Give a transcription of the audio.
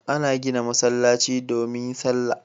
An gina masallaci ne domin salla